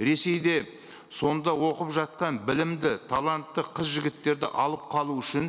ресейде сонда оқып жатқан білімді талантты қыз жігіттерді алып қалу үшін